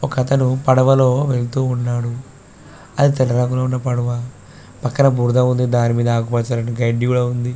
ఒక అతను పడవలో వెళ్తూ ఉన్నాడు అతని దెగర ఉన్న పడవ పక్కన బురద ఉంది దాని మీద ఆకుపచ్చని గడ్డి కూడా ఉంది.